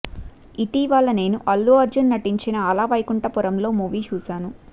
ఇటీవల నేను అల్లు అర్జున్ నటించిన అల వైకుంఠపురంలో మూవీ చూశాను